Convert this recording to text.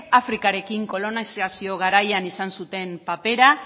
afrikarekin kolonizazio garaian izan zuten papera